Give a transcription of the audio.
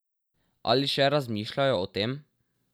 Ali še razmišljajo o tem?